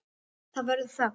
Það verður þögn.